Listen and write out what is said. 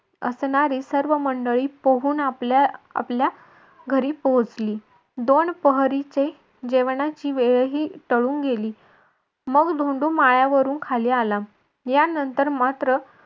असणारी सर्व मंडळी पोहून आपल्या आपल्या पोहोचले घरी पोहोचली. दोन पहरीचे जेवणाची वेळ ही टळुन गेली. मग धोंडू माळ्यावरून खाली आला. यानंतर मात्र